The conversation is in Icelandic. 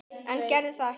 En gerði það ekki.